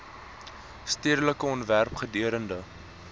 stedelike ontwerp gedurende